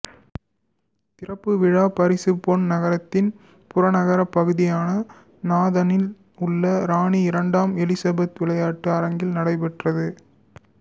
திறப்பு விழா பிரிசுபேன் நகரத்தின் புறநகர்ப் பகுதியான நாதனில் உள்ள ராணி இரண்டாம் எலிசபெத்து விளையாட்டு அரங்கத்தில் நடைபெற்றது